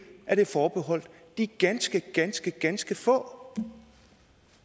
forbeholdt de ganske ganske ganske få